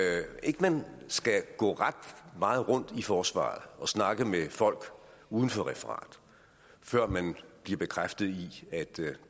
man skal gå ret meget rundt i forsvaret og snakke med folk uden for referat før man bliver bekræftet i at